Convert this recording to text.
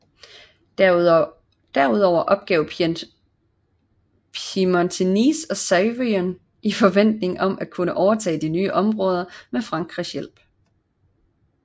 Derudover opgav Piemonte Nice og Savoyen i forventning om at kunne overtage nye områder med Frankrigs hjælp